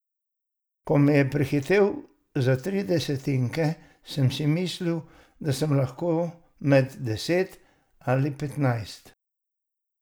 Ko me je prehitel za tri desetinke, sam si mislil, da sem lahko med deset ali petnajst.